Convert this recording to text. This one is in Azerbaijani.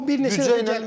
O bir neçə dəfə.